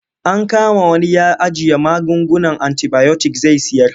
An kama wani ya ajiye magungunan antibayotik zai sayar.